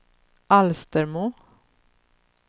Alstermo